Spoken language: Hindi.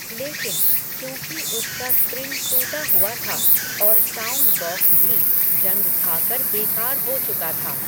लेकिन, चूंकि उसका स्प्रिंग टूटा हुआ था, और साउंड बॉक्स भी, जंग खाकर बेकार हो चुका था